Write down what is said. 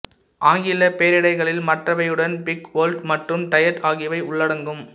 ஆங்கிலப் பெயரடைகளில் மற்றவையுடன் பிக் ஓல்ட் மற்றும் டையர்ட் ஆகியவை உள்ளடங்கும்